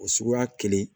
O suguya kelen